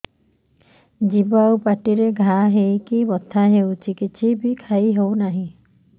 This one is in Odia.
ଜିଭ ଆଉ ପାଟିରେ ଘା ହେଇକି ବଥା ହେଉଛି କିଛି ବି ଖାଇହଉନି